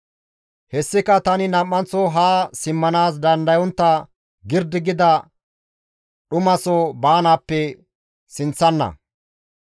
Hessika tani nam7anththo haa simmanaas dandayontta girdi gida dhumaso baanaappe sinththana.